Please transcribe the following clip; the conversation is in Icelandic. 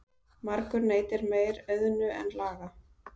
Margur neytir meir auðnu en laga.